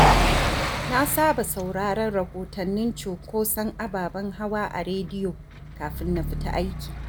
Na saba sauraron rahotannin cunkoson ababen hawa a rediyo kafin na fita aiki.